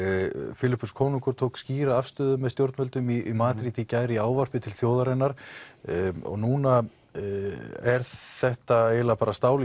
Filippus konungur tók skýra afstöðu með stjórnvöldum í Madríd í gær í ávarpi til þjóðarinnar núna er þetta eiginlega bara stál í